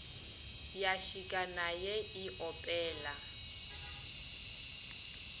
ya šika naye e opela